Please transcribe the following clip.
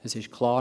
Es ist klar: